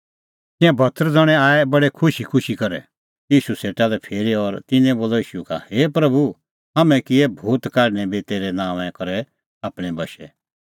तिंयां सत्तर ज़ण्हैं आऐ बडै खुशीखुशी करै ईशू सेटा लै फिरी और तिन्नैं बोलअ ईशू का हे प्रभू हाम्हैं किऐ भूत काढणैं बी तेरै नांओंआं करै आपणैं बशै